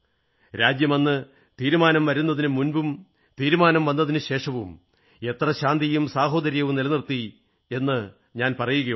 രാജ്യം അന്ന് തീരുമാനം വരുന്നതിനു മുമ്പും തീരുമാനം വന്നശേഷവും എത്ര ശാന്തിയും സാഹോദര്യം നിലനിർത്തി എന്ന് ഞാൻ പറയുകയുണ്ടായി